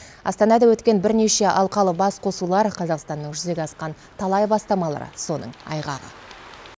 астанада өткен бірнеше алқалы басқосулар қазақстанның жүзеге асқан талай бастамалары соның айғағы